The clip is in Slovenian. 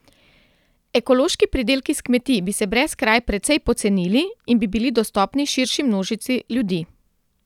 Ekološki pridelki s kmetij bi se brez kraj precej pocenili in bi bili dostopni širši množici ljudi.